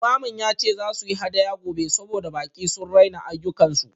Limamin ya ce za su yi hadaya gobe saboda baƙi sun raina ayyukansu